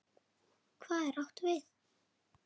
Hvað er átt við?